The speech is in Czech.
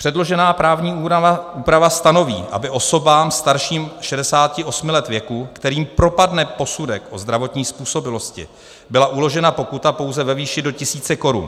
Předložená právní úprava stanoví, aby osobám starším 68 let věku, kterým propadne posudek o zdravotní způsobilosti, byla uložena pokuta pouze ve výši do tisíce korun.